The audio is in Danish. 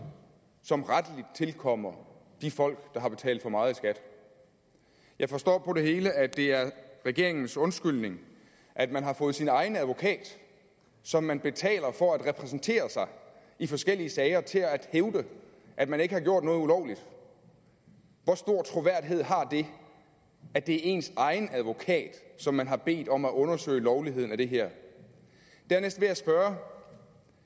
som rettelig tilkommer de folk der har betalt for meget i skat jeg forstår på det hele at det er regeringens undskyldning at man har fået sin egen advokat som man betaler for at repræsentere sig i forskellige sager til at hævde at man ikke har gjort noget ulovligt hvor stor troværdighed har det at det er ens egen advokat som man har bedt om at undersøge lovligheden af det her dernæst vil jeg spørge